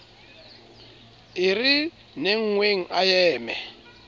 e re nengneng a eme